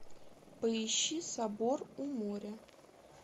поищи собор у моря